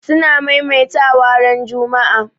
suna maimaita wa ran Juma'a